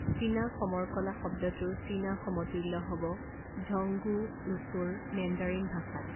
চীনা সমৰ কলা শব্দটোৰ চীনা সমতুল্য হ'ব ঝংগুও ৱুচুৰ মেণ্ডাৰিন ভাষাত।